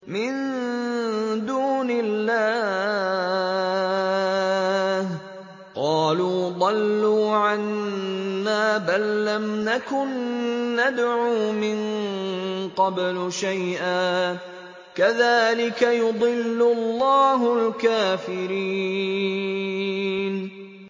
مِن دُونِ اللَّهِ ۖ قَالُوا ضَلُّوا عَنَّا بَل لَّمْ نَكُن نَّدْعُو مِن قَبْلُ شَيْئًا ۚ كَذَٰلِكَ يُضِلُّ اللَّهُ الْكَافِرِينَ